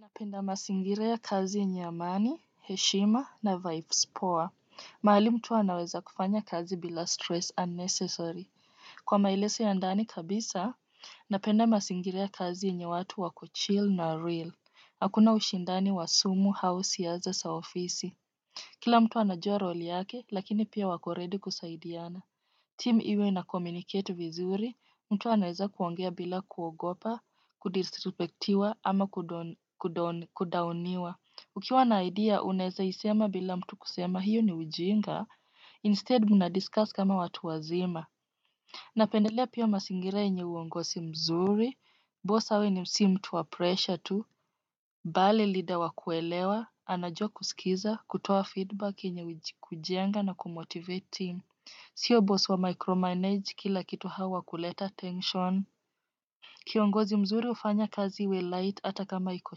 Napenda masingire ya kazi niya mani, hechima na vibes poa. Maali mutua naweza kufanya kazi bila stress unnecessary. Kwa maileso ya andani kabisa, napenda masingire ya kazi niya watu wa kuchil na real. Hakuna wishindani wa sumu hao siyaza sa ofisi. Kila mtu na jua roli ake, laki ni piya wa koredi kusaidi ana. Team iwe na komunicate vizuri, Mutua naweza kuwangia bila kuogopa, kudistrupektiwa ama kudowniwa. Ukiwa na idea, unaweza isema bila mutu kusema hiyo ni wijinga. Instead, mnadiscuss kama watuwa zima. Napenda liya piwa masingire niya wongosi mzuri, boss awe ni wisi mutua pressure tu, bali lidawa kuelewa, ana jua kuskiza, kutoa feedback niya wijikujenga na kumotivati. Siyo boss wa micromanage, kila kitu hawa kuleta tension. Kionguzi mzuri ufanya kazi we light ata kama iko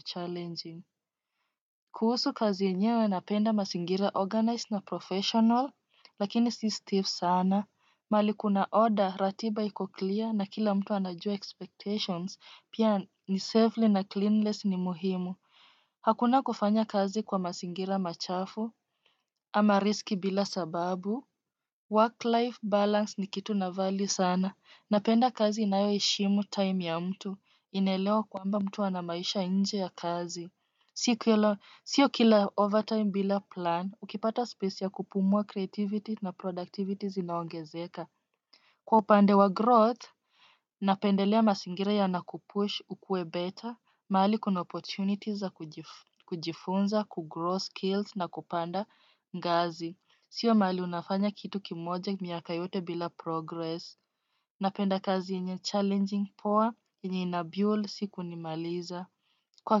challenging. Kuhusu kazi niya we napenda masingira organized na professional, lakini stiff sana, mali kuna order ratiba iko clear na kila mtu na jua expectations piya ni safely na cleanless ni muhimu. Hakuna kufanya kazi kwa masingira machafu ama riski bila sababu. Work-life balance ni kitu na vali sana. Napenda kazi inayo ishimu time ya mtu. Inelewa kwamba mtu anamaisha inje ya kazi. Siyo kila over time bila plan, ukipata space ya kupumuwa creativity na productivity zina wangezeka. Kwa upande wa growth, napenda liya masingira ya nakupushu kue better, mahali kuna opportunities za kujifunza, kuggrow skills na kupanda ngazi. Sio mali unafanya kitu kimojek miyakaiyote bila progress. Napenda kazi inye challenging poa, enye inabuel siku ni maliza. Kwa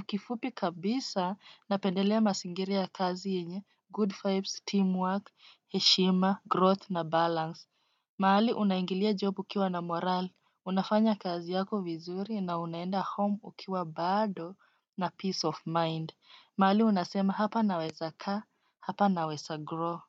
kifupi kabisa, napendalea masingira ya kazi inye good vibes, teamwork, heshima, growth na balance. Mali unaingilia job ukiwa na moral, unafanya kazi ya ko vizuri na unaenda home ukiwa bado na peace of mind. Mali unaasema hapa naweza ka, hapa naweza grow.